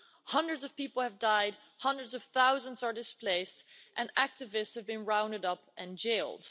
Hundreds of people have died, hundreds of thousands are displaced, and activists have been rounded up and jailed.